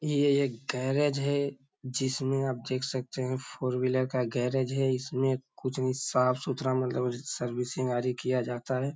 ये एक गेरेज् है जिसमे आप देख सकतें हैं फोर व्हीलर का गेरेज् है इसमें कुछ भी साफ़ सुथरा मतलब सर्विसिंग आदि किया जाता है।